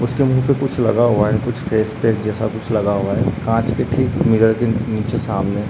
उसके मुँह पे कुछ लगा हुआ है कुछ फेस पैक जैसा कुछ लग हुआ है कांच के ठीक मिर्रर के नीचे सामने।